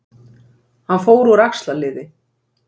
Hann fór úr axlarliði